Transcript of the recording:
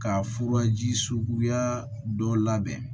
Ka furaji suguya dɔ labɛn